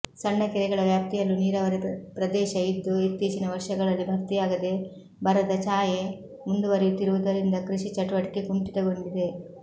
ಸಣ್ಣಕೆರೆಗಳ ವ್ಯಾಪ್ತಿಯಲ್ಲೂ ನೀರಾವರಿ ಪ್ರದೇಶ ಇದ್ದು ಇತ್ತೀಚಿನ ವರ್ಷಗಳಲ್ಲಿ ಭರ್ತಿಯಾಗದೆ ಬರದ ಛಾಯೆ ಮುಂದುವರೆಯುತ್ತಿರುವುದರಿಂದ ಕೃಷಿ ಚಟುವಟಿಕೆ ಕುಂಠಿತಗೊಂಡಿದೆ